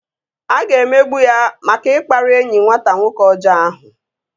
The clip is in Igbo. A ga-emegbu ya maka ikpari enyi nwata nwoke ọjọọ ahụ